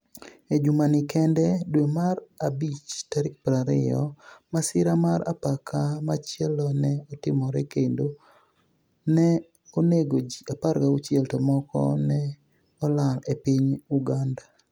E jumanii kenide (Dwe mar abich 20,) masira mar apaka machielo ni e otimore kenido ni e oni ego ji 16 to moko ni e olal e piniy Uganida.